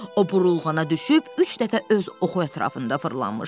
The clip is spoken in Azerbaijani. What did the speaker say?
O burulğana düşüb üç dəfə öz oxu ətrafında fırlanmışdı.